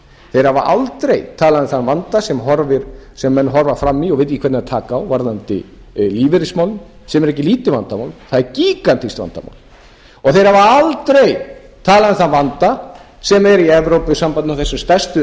þeir hafa aldrei talað um þann vanda sem menn horfa fram í og vita ekki hvernig á að taka á varðandi lífeyrismálin sem eru ekki lítið vandamál það er gígantískt vandamál og þeir hafa aldrei talað um þann vanda sem er í evrópusambandinu og þessi stærstu og